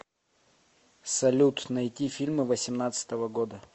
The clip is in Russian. салют найти фильмы восемнадцатого года